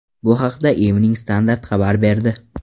Bu haqda Evening Standart xabar berdi .